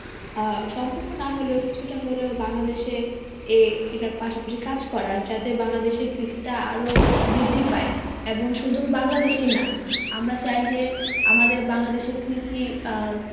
আহ সম্পূর্ণ না হলেও কিছুটা হলেও বাংলাদেশে এ এটার পাশাপাশি কাজ করার যাতে বাংলাদেশের কৃষিটা আরো বৃদ্ধি পায় এবং শুধু বাংলাদেশেই না আমরা চাই যে আমাদের বাংলাদেশের কৃষির আহ